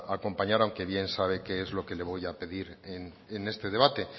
acompañar aunque bien sabe qué es lo que le voy a pedir en este debate